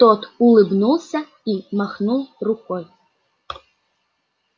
тот улыбнулся и махнул рукой